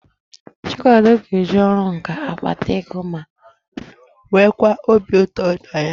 Chikwado ga-eji ọrụ nkà akpata ego ma nweekwa obi ụtọ na ya.